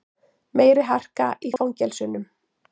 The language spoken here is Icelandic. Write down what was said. Meiri harka í fangelsunum